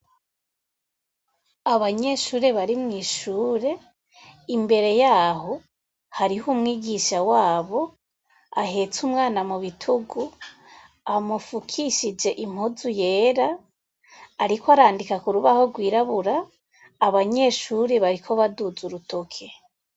Abanyeshure bari mw'ishure imbere yabo hariho umwigisha wabo ahetse umwana mu bitugu amufukishije impuzu yera ariko arandika ku rubaho rwirabura abanyeshure bariko baduza urutoke.